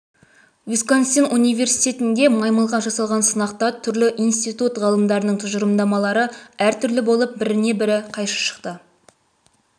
висконсин университетінде маймылға жасалған сынақта түрлі институт ғалымдарының тұжырымдамалары әр түрлі болып біріне бірі қайшы шықты